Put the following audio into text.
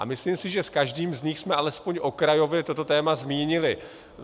A myslím si, že s každým z nich jsme alespoň okrajově toto téma zmínili.